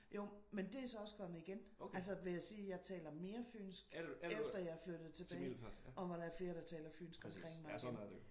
Jo men det er så også kommet igen. Altså vil jeg sige jeg taler mere fynsk efter jeg er flyttet tilbage og hvor der er flere der taler fynsk omkring mig igen